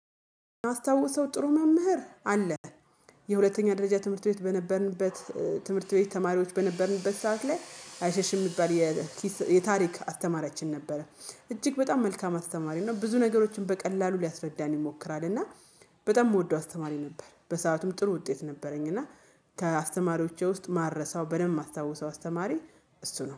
የማስታውሰው ጥሩ መምህር አለ። የሁለተኛ ደረጃ ትምህርት ቤት በነበርንበት ትምህርት ቤት ተማሪዎች በነበርንበት ሰዓት ላይ አይሸሽም የሚባል የኪስ የታሪክ አተማራችን ነበረ። እጅግ በጣም መልካም አስተማሪ ነው። ብዙ ነገሮችን በቀላሉ ሊያስረዳን ይሞክራል እና በጣም የምወደው አስተማሪ ነበር። በሰአቱም ጥሩ ውጤት ነበረኝ። እና ከአስተማሪዎቼ ውስጥ ማረሳው በደንብ ማስታወሰው አስተማሪ እሱ ነው